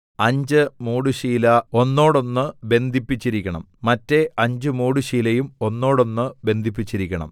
അഞ്ച് മൂടുശീല ഒന്നോടൊന്ന് ബന്ധിപ്പിച്ചിരിക്കണം മറ്റെ അഞ്ച് മൂടുശീലയും ഒന്നോടൊന്ന് ബന്ധിപ്പിച്ചിരിക്കണം